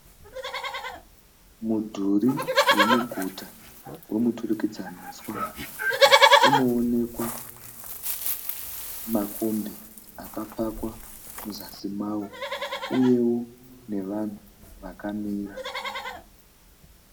Mudhuri wemuguta wemuturikidzaniswa unoonekwa makombi akapakwa muzasi mawo uyewo nevanhu vakamira.